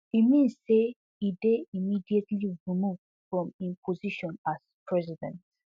e mean say e dey immediately removed from im position as president